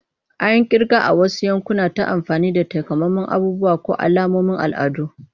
An yi kirga a wasu yankuna ta amfani da takamaiman abubuwa ko alamomin al'adu.